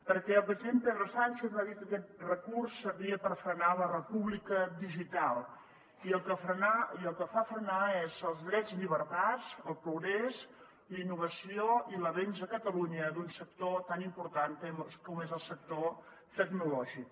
perquè el president pedro sánchez va dir que aquest decret servia per frenar la república digital i el que fa frenar són els drets i llibertats el progrés la innovació i l’avenç a catalunya d’un sector tan important com és el sector tecnològic